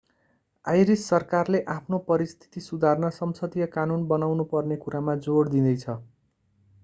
iris सरकारले आफ्नो परिस्थिति सुधार्न संसदीय कानून बनाउनु पर्ने कुरामा जोड दिँदैछ